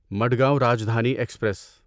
Madgaon Rajdhani express